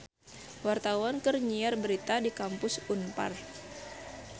Wartawan keur nyiar berita di Kampus Unpar